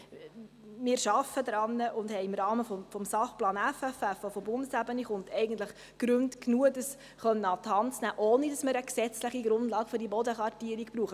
Wir arbeiten daran und haben im Rahmen des SP FFF des Bundes genügend Gründe, um dies an die Hand nehmen zu können, ohne dass wir eine gesetzliche Grundlage für diese Bodenkartierung benötigen.